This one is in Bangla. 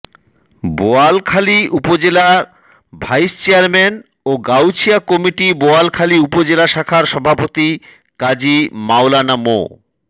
বোয়ালখালী উপজেলা ভাইস চেয়াম্যান ও গাউছিয়া কমিটি বোয়ালখালী উপজেলা শাখার সভাপতি কাজী মাওলানা মো